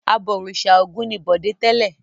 Abọ̀rìṣà Ògún ni Bọ̀dé tẹ́lẹ̀.